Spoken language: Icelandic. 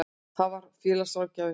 Það var félagsráðgjafinn.